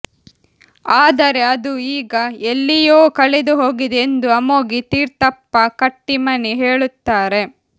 ಆದರೆ ಅದು ಈಗ ಎಲ್ಲಿಯೋ ಕಳೆದುಹೋಗಿದೆ ಎಂದು ಅಮೋಗಿ ತೀರ್ಥಪ್ಪ ಕಟ್ಟಿಮನಿ ಹೇಳುತ್ತಾರೆ